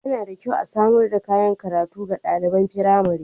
Yana da kyau a samar da kayan karatu ga ɗaliban firamari.